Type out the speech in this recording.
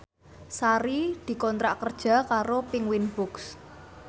Sari dikontrak kerja karo Penguins Books